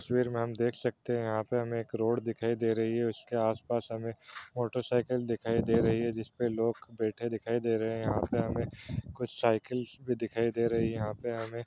तस्वीर में हम देख सकते हैं यहाँ पे हमें एक रोड दिखाई दे रही है| उसके आसपास हमें मोटर साइकिल दिखाई दे रही है जिसपे लोग बैठे दिखाई दे रहे हैं| यहाँ पे हमें कुछ साइकल्स भी दिखाई दे रही है। यहाँ पे हमें --